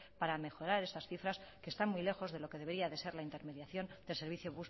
para mejorar esas cifras que están muy lejos de lo que debería ser la intermediación del servicio